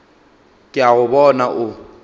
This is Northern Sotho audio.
ke a go bona o